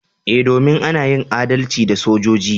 Eh, domin ana yin adalci da sojoji.